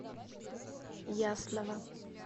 ясного